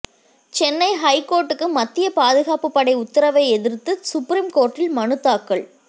சென்னை ஐகோர்ட்டுக்கு மத்திய பாதுகாப்பு படை உத்தரவை எதிர்த்து சுப்ரீம் கோர்ட்டில் மனுதாக்கல்